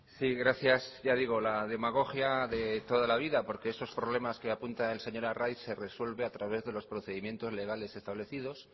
sí gracias ya digo la demagogia de toda la vida porque esos problemas que apunta el señor arraiz se resuelve a través de los procedimientos legales establecidos